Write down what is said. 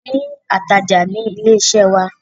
A ni atajà ní ilé iṣẹ́ wa.